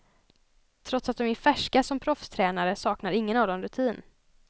Trots att de är färska som proffstränare saknar ingen av dem rutin.